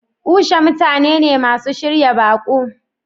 Usha mutane ne masu shirya baƙo.